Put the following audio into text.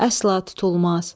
Əsla tutulmaz.